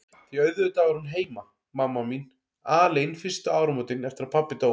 Því auðvitað var hún heima, mamma mín, alein fyrstu áramótin eftir að pabbi dó.